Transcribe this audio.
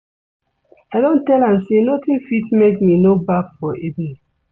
I don tell am sey notin fit make me no baff for evening.